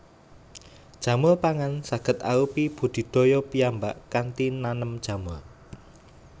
Jamur pangan saged arupi budidaya piyambak kanthi nanem jamur